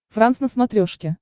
франс на смотрешке